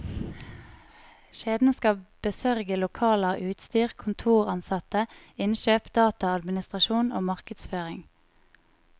Kjeden skal besørge lokaler, utstyr, kontoransatte, innkjøp, data, administrasjon og markedsføring.